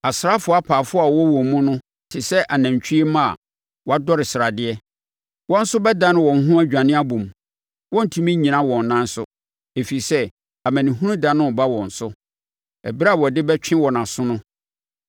Asraafoɔ apaafoɔ a wɔwɔ wɔn mu no te sɛ anantwie mma a wɔadɔre sradeɛ. Wɔn nso bɛdane wɔn ho adwane abom, wɔrentumi nnyina wɔn nan so, ɛfiri sɛ, amanehunu da no reba wɔn so, ɛberɛ a wɔde bɛtwe wɔn aso no.